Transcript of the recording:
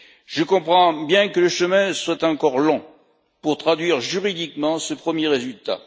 Je comprends bien que le chemin soit encore long pour traduire juridiquement ce premier résultat.